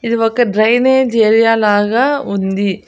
ఇది ఒక drainage area లాగ ఉంది.